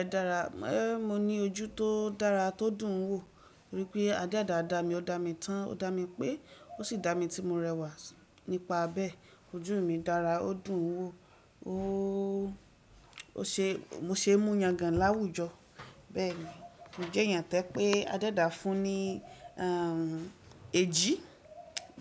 Ẹ dára, mo ní ojú tó dára, tó dùn ún wò. Rí i pé adẹ́ẹ́dà da, mi ò dá mi tán, ò dá mi pé ó sì dá mi tí mo rẹwà nípa bẹ́ẹ̀. Ojú mi dára, ó dùn ún wò. O ó ṣe mo ṣe mú yangàn láwùjọ. Bẹ́ẹ̀ni mo jẹ́ èèyàn to je pé adẹ́ẹ́dà fún ní ehm ejí.